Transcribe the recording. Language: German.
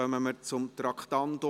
Wir kommen zum Traktandum 80: